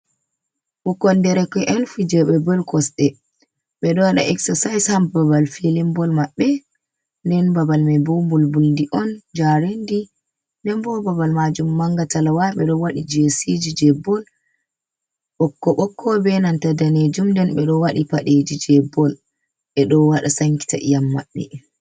Bukkon derke’en fijube bol kosde bedo wada exercise ha babal filimbol mabbe den babal mai bo bulbuldi on jarendi den bo babal majum mangatalawa be do wadi jesiji je bol bokko bokko be nanta danejum nden be do wadi padeji je bol e do wada sankita iyam mabbe.